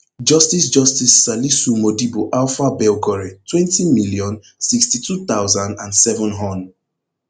justice justice salisu modibo alfa belgore twenty million, sixty-two thousand and seven hon